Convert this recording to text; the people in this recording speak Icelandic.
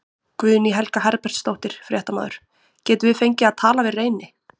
Guðný Helga Herbertsdóttir, fréttamaður: Getum við fengið að tala við Reyni?